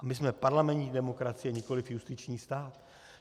A my jsme parlamentní demokracie, nikoliv justiční stát.